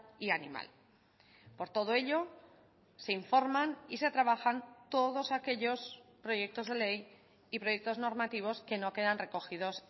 y animal por todo ello se informan y se trabajan todos aquellos proyectos de ley y proyectos normativos que no quedan recogidos